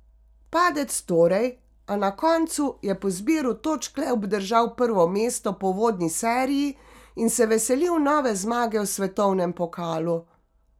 Padec torej, a na koncu je po zbiru točk le obdržal prvo mesto po uvodni seriji in se veselil nove zmage v svetovnem pokalu.